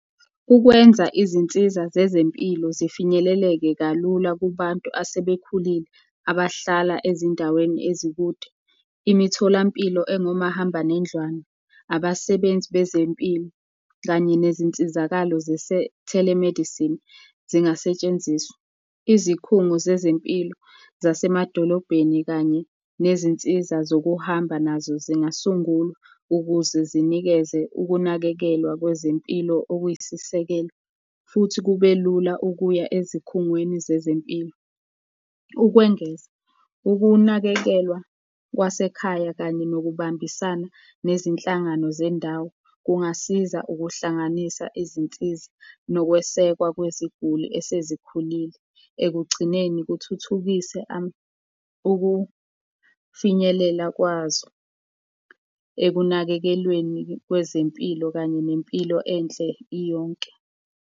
Ukwenza izinsiza zezempilo zifinyelele kalula kubantu asebekhulile abahlala ezindaweni ezikude, imitholampilo engomahamba nendlwane, abasebenzi bezempilo, kanye nezinsizakalo zise-telemedicine, zingasetshenziswa. Izikhungo zezempilo zasemadolobheni kanye nezinsiza zokuhamba nazo zingasungulwa, ukuze zinikeze ukunakekelwa kwezempilo okuyisisekelo, futhi kube lula ukuya ezikhungweni zezempilo. Ukwengeza ukunakekelwa kwasekhaya kanye nokubambisana nezinhlangano zendawo kungasiza ukuhlanganisa izinsiza nokwesekwa kweziguli esezikhulile, ekugcineni kuthuthukise ukufinyelela kwazo ekunakekelweni kwezempilo kanye nempilo enhle iyonke.